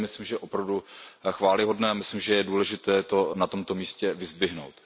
To je, myslím, opravdu chvályhodné a myslím, že je důležité to na tomto místě vyzdvihnout.